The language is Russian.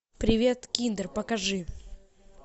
привет киндер покажи